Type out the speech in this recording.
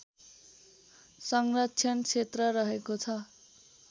संरक्षण क्षेत्र रहेको छ